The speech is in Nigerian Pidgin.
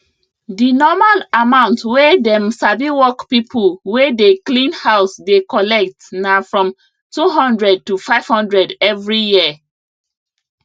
dinormal amount wey dem sabiwork pipo wey dey clean house dey collect na from 200 to 500 every year